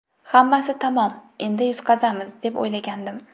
Hammasi tamom, endi yutqazamiz, deb o‘ylagandim.